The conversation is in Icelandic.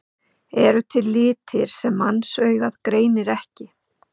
Eru til litir sem mannsaugað greinir ekki?